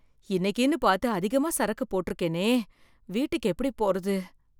இன்னைக்குன்னு பார்த்து அதிகமா சரக்கு போட்டுருக்கேனே வீட்டுக்கு எப்படி போறது?